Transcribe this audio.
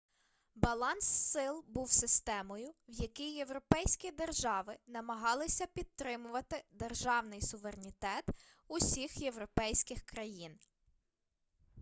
баланс сил був системою в якій європейські держави намагалися підтримувати державний суверенітет усіх європейських країн